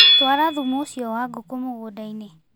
Twara thumu ũcio wa ngũkũ mũgũndainĩ.